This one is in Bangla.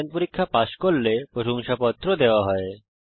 অনলাইন পরীক্ষা পাস করলে প্রশংসাপত্র দেওয়া হয়